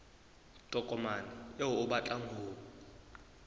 tokomane eo o batlang ho